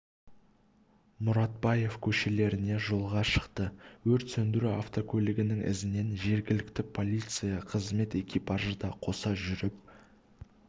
мұратбаев көшелеріне жолға шықты өрт сөндіру автокөлігінің ізінен жергілікті полиция қызметі экипажы да қоса жүріп